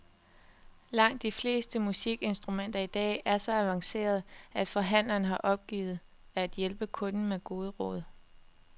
Langt de fleste musikinstrumenter i dag er så avancerede, at forhandleren har opgivet at hjælpe kunden med gode råd.